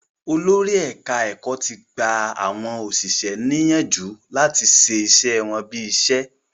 Olórí ẹ̀ka-ẹ̀kọ́ ti gba àwọn òṣìṣẹ́ ní yánjù láti ṣe iṣẹ́ wọ́n bí iṣẹ́.